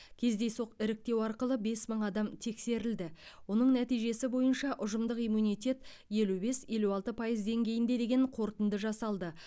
кездейсоқ іріктеу арқылы бес мың адам тексерілді оның нәтижесі бойынша ұжымдық иммунитет елу бес елу алты пайыз деңгейінде деген қорытынды жасалды